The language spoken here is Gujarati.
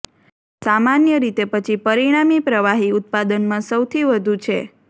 સામાન્ય રીતે પછી પરિણામી પ્રવાહી ઉત્પાદનમાં સૌથી વધુ છે